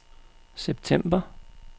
september